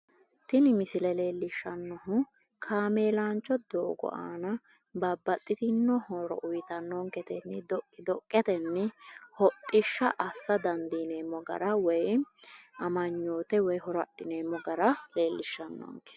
tini misile leellishshannohu kameelaancho doogo aana babbaxxitinno horo uyiitannonkete giddo dhoqqidhoqetenni hodhishsha assa dandineemo gara woyiimmi amanyoote woy horo adhineemmo gara leellishshannonke